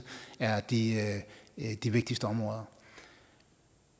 er de de vigtigste områder